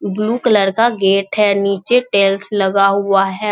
Blue colour का gate है नीचे टाइल्स लगा हुआ है।